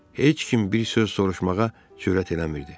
Heç kim bir söz soruşmağa cürət eləmirdi.